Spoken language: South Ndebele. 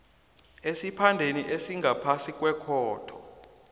esiphandeni esingaphasi kwekhotho